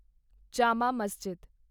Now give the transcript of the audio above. Jama Masjid